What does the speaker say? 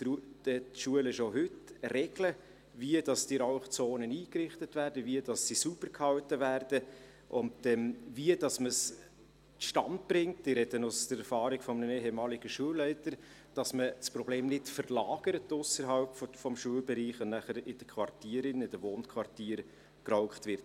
Dort setzen die Schulen schon heute Regeln, wie diese Rauchzonen eingerichtet werden, wie sie sauber gehalten werden und dann wie man es zustande bringt – ich spreche aus der Erfahrung eines ehemaligen Schulleiters –, dass man das Problem nicht aus dem Schulbereichs hinaus verlagert, sodass nachher in den Wohnquartieren geraucht wird.